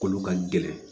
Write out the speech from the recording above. Kolo ka gɛlɛn